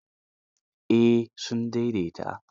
Eh sun daidaita.